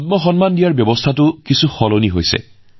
পদ্ম সন্মান প্ৰদানৰ ব্যৱস্থাতো বহু পৰিৱৰ্তন ঘটিছে